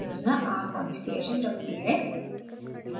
संरचना r configuration रखती है